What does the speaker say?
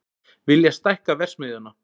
Vilja stækka verksmiðjuna